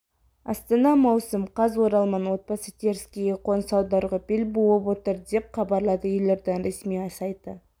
астана маусым қаз оралман отбасы теріскейге қоныс аударуға бел буып отыр деп хабарлады елорданың ресми сайты